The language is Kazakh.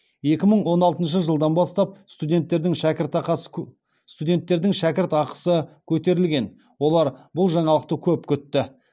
екі мың он алтыншы жылдан бастап студенттердің шәкіртақысы көтерілген олар бұл жаңалықты көп күтті